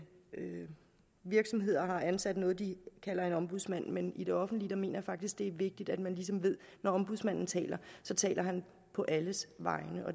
virksomheder har ansat noget de kalder en ombudsmand men i det offentlige mener jeg faktisk det er vigtigt at man ligesom ved at når ombudsmanden taler så taler han på alles vegne